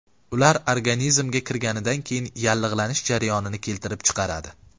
Ular organizmga kirganidan keyin yallig‘lanish jarayonini keltirib chiqaradi.